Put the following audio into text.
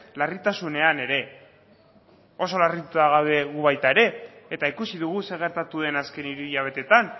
larritasunean ere oso larrituta gaude gu baita ere eta ikusi dugu zer gertatu den azken hiru hilabeteetan